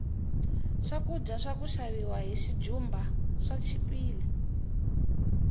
swakudya swaka xaviwa hi xijumba swi chipile